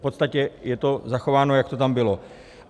V podstatě je to zachováno, jak to tam bylo.